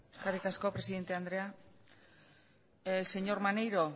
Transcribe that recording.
eskerrik asko presidente andrea señor maneiro